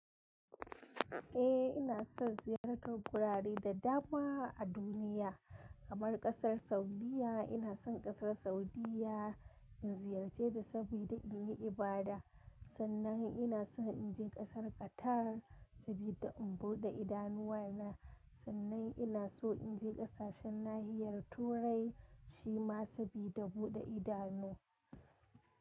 Eh ina son ziyartar wurare da dama a duniya kamar kasar Saudiyya. Ina son kasar Saudiyya in ziyarce ta saboda in yi ibada. Sannan ina so in je kasar Qatar saboda in buɗe idanuwana. Sannan ina so in je ƙasashen nahiyar Turai shi ma saboda buɗe idanu.